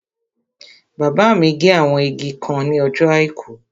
Bàbá mi gé àwọn igi kan ní ọjọ́ àìkú